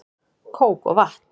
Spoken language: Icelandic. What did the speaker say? Kók og vatn